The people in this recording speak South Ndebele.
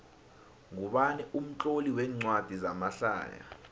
ngubani umtloli wencwadi zamahlaya